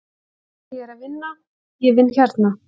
Ég er að vinna, ég vinn hérna.